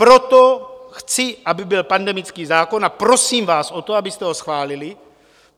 Proto chci, aby byl pandemický zákon, a prosím vás o to, abyste ho schválili.